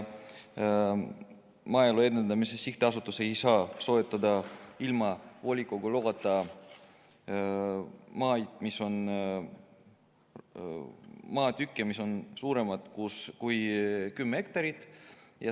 Maaelu Edendamise Sihtasutus ei saa soetada ilma volikogu loata maatükke, mis on suuremad kui kümme hektarit.